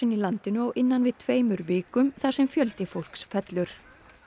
í landinu á innan við tveimur vikum þar sem fjöldi fólks fellur